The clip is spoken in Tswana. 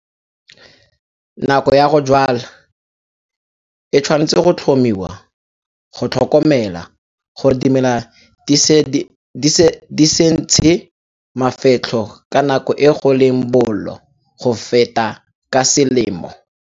Nako ya go jwala e tshwanetse go tlhomiwa go tlhokomela gore dimela di se ntshe mafetlho ka nako e go leng bollo go feta ka selemo.